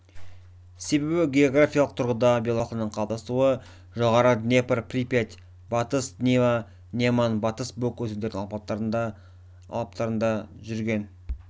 себебі географиялық тұрғыда белорус халқының қалыптасуы жоғарғы днепр припять батыс двина неман батыс буг өзендерінің алабтарында жүрген